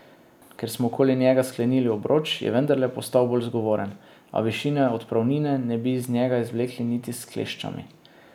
Ker smo okoli njega sklenili obroč, je vendarle postal bolj zgovoren, a višine odpravnine ne bi iz njega izvlekli niti s kleščami.